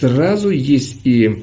сразу есть и